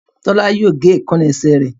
Tola yíò gé Èékánná esẹ̀ rẹ.